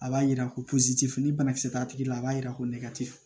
A b'a jira ko tɛ foyi banakisɛ t'a tigi la a b'a jira ko nɛgɛ te fɛ